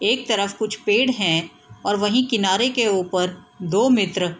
एक तरफ कुछ पेड़ है और वहीं किनारे के ऊपर दो मित्र --